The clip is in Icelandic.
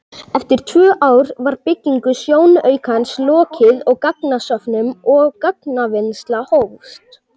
Eftir tvö ár var byggingu sjónaukans lokið og gagnasöfnun og gagnavinnsla hófst.